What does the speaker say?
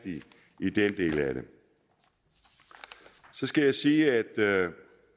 i den del af det så skal jeg sige at